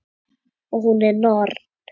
Og hún er norn.